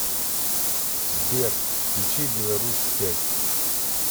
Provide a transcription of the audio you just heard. сбер включи беларусь пять